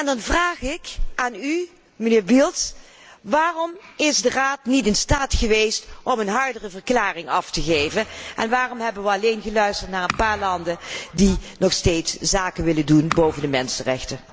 Dan vraag ik aan u, mijnheer Bildt, waarom is de Raad niet in staat geweest om een hardere verklaring af te leggen en waarom hebben wij alleen geluisterd naar een paar landen die nog steeds zaken willen doen in weerwil van de situatie van de mensenrechten?